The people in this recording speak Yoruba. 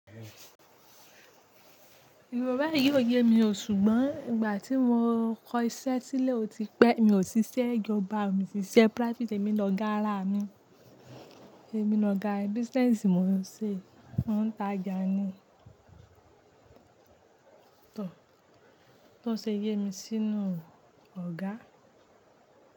Ìrora yìí yóò yé mi o ṣùgbọ́n ìgbà tí mo kọ iṣẹ́ sílẹ̀ ó ti pẹ́. Mi ò ṣe iṣẹ́ ìjọba, mo sì ṣe practice. Èmi lọ ga ara mi, èmi lọ ga business mi mo ń ṣe, mò ń ta jà ni. Tò, tò ṣe yé mi sínú ọgá.